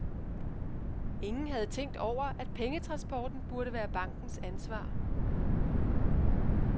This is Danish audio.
Ingen havde tænkt over, at pengetransporten burde være bankens ansvar.